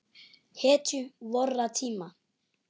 Hetju vorra tíma.